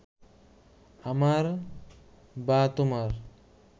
আমার বা তোমার